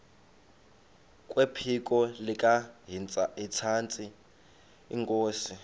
kwephiko likahintsathi inkosi